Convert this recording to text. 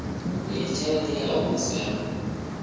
iyi tshelede i a humiselwa